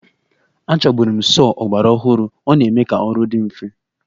Achọburu m sọọ ọgbaraọhụrụ, ọ na-eme ka ọrụ dị mfe